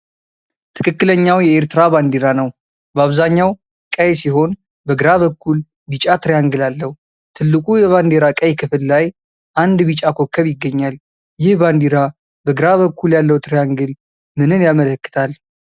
ትክክለኛው የኤርትራ ባንዲራ ነው። በአብዛኛው ቀይ ሲሆን በግራ በኩል ቢጫ ትሪያንግል አለው። ትልቁ የባንዲራ ቀይ ክፍል ላይ አንድ ቢጫ ኮከብ ይገኛል። ይህ ባንዲራ በግራ በኩል ያለው ትሪያንግል ምንን ያመለክታል?